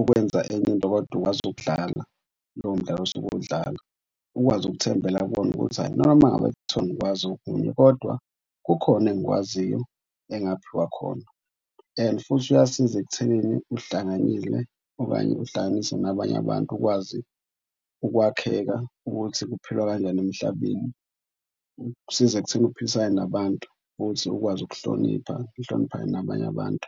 ukwenza enye into kodwa ukwazi ukudlala lowo mdlalo osuke uwudlala ukwazi ukuthembela kuwona ukuthi hhayi noma ngabe kuthiwa angikwazi okunye kodwa kukhona engikwaziyo engaphiwa khona. And futhi uyasiza ekutheni uhlanganyile okanye uhlanganise nabanye abantu ukwazi ukwakheka ukuthi kuphilwa kanjani emhlabeni. Kusiza ekutheni uphilisane nabantu futhi ukwazi ukuhlonipha. Nihloniphane nabanye abantu.